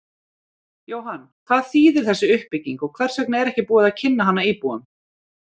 Jóhann, hvað þýðir þessi uppbygging og hvers vegna er ekki búið að kynna hana íbúum?